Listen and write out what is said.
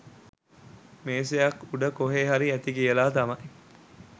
මේසයක් උඩ කොහෙ හරි ඇති කියලා තමයි